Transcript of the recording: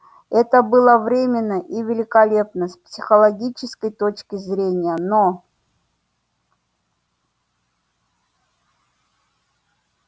это было временно и великолепно с психологической точки зрения но